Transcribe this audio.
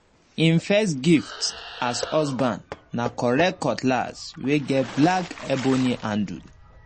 him first gift as husband na correct cutlass wey get black ebony handle